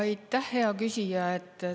Aitäh, hea küsija!